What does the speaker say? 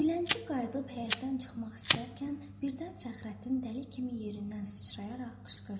Dilənçi qayıdıb həyətdən çıxmaq istərkən birdən Fəxrəddin dəli kimi yerindən sıçrayaraq qışqırdı.